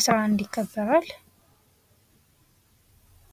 11 ይከበራል::